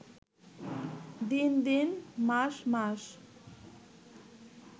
দিন দিন, মাস মাস